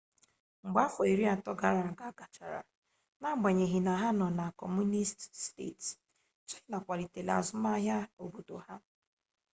mgbe afọ iri atọ gara aga gachara n'agbanyeghị na ha nọ na kọmunisti steeti china akwalitela azụmaahia obodo ha